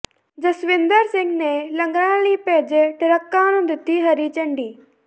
ਜਸਵਿੰਦਰ ਸਿੰਘ ਨੇ ਲੰਗਰਾਂ ਲਈ ਭੇਜੇ ਟਰੱਕਾਂ ਨੂੰ ਦਿੱਤੀ ਹਰੀ ਝੰਡੀ